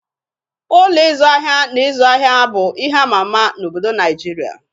Ụlọ ịzụ ahịa na ịzụ ahịa bụ ihe ama ama n'obodo Naịjirịa